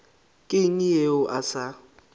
ke eng yeo a sa